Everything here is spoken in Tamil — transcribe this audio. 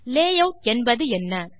லேயூட் என்பதென்ன